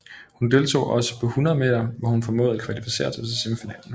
Hun deltog også på 100 meter hvor hun formåede at kvalificere sig til semifinalerne